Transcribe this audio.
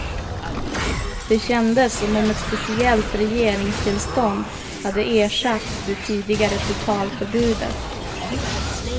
Det kändes som om ett speciellt regeringstillstånd hade ersatt det tidigare totalförbudet.